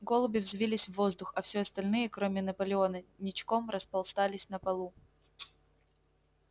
голуби взвились в воздух а все остальные кроме наполеона ничком распластались на полу